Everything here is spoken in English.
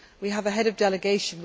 We have a head of delegation.